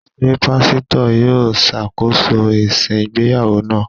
Ṣé Pásítọ̀ yó ṣàkóso ìsìn ìgbéyàwó náà?